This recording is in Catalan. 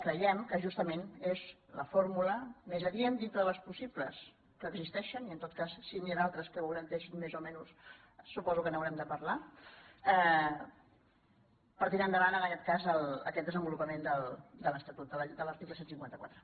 creiem que justament és la fórmula més adient dintre de les possi·bles que existeixen i en tot cas si n’hi ha d’altres que ho garanteixin més o menys suposo que n’haurem de parlar per tirar endavant en aquest cas aquest desen·volupament de l’estatut de l’article cent i cinquanta quatre